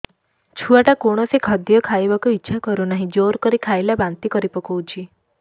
ଛୁଆ ଟା କୌଣସି ଖଦୀୟ ଖାଇବାକୁ ଈଛା କରୁନାହିଁ ଜୋର କରି ଖାଇଲା ବାନ୍ତି କରି ପକଉଛି